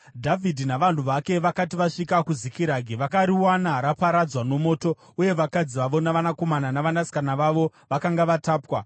Dhavhidhi navanhu vake vakati vasvika kuZikiragi, vakariwana raparadzwa nomoto, uye vakadzi vavo navanakomana navanasikana vavo vakanga vatapwa.